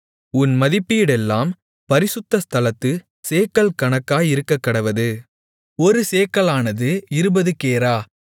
உன் மதிப்பீடெல்லாம் பரிசுத்த ஸ்தலத்துச் சேக்கல் கணக்காயிருக்கக்கடவது ஒரு சேக்கலானது இருபது கேரா